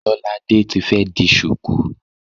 Lolade ti fi di ṣùkú.